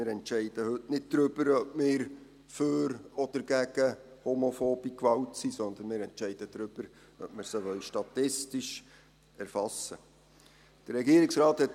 Wir entscheiden heute nicht darüber, ob wir für oder gegen homophobe Gewalt sind, sondern wir entscheiden darüber, ob wir sie statistisch erfassen wollen.